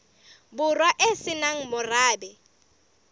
borwa e se nang morabe